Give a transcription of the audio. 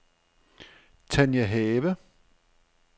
Tania Have